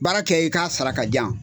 Baara kɛ i k'a sara k'a di yan.